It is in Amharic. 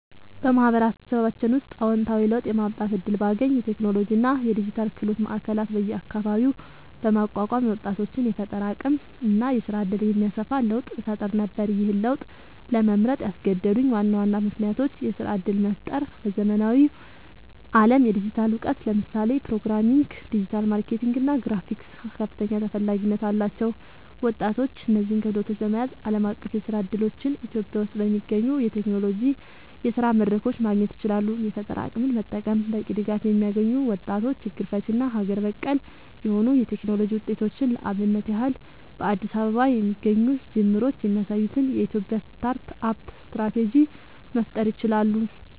በማህበረሰባችን ውስጥ አወንታዊ ለውጥ የማምጣት እድል ባገኝ፣ የቴክኖሎጂ እና የዲጂታል ክህሎት ማዕከላት በየአካባቢው በማቋቋም የወጣቶችን የፈጠራ አቅም እና የስራ እድል የሚያሰፋ ለውጥ እፈጥር ነበር። ይህን ለውጥ ለመምረጥ ያስገደዱኝ ዋና ዋና ምክንያቶች -የስራ እድል መፍጠር በዘመናዊው ዓለም የዲጂታል እውቀት (ለምሳሌ ፕሮግራሚንግ፣ ዲጂታል ማርኬቲንግ እና ግራፊክስ) ከፍተኛ ተፈላጊነት አላቸው። ወጣቶች እነዚህን ክህሎቶች በመያዝ ዓለም አቀፍ የስራ እድሎችን [ኢትዮጵያ ውስጥ በሚገኙ የቴክኖሎጂ የስራ መድረኮች] ማግኘት ይችላሉ። የፈጠራ አቅምን መጠቀም በቂ ድጋፍ የሚያገኙ ወጣቶች ችግር ፈቺ እና አገር በቀል የሆኑ የቴክኖሎጂ ውጤቶችን (ለአብነት ያህል በአዲስ አበባ የሚገኙ ጅምሮች የሚያሳዩትን [የኢትዮጵያ ስታርት አፕ ስትራቴጂ]) መፍጠር ይችላሉ።